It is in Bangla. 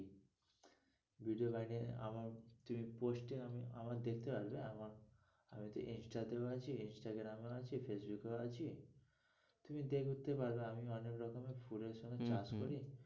Video বানিয়ে আমার তুমি post এ আমার দেখতে পারবে আমার instagram এ আছি instagram এও আছি facebook এও আছি তুমি দেখতে পারো আমি অনেক রকমই করে চাষ করি হম হম ।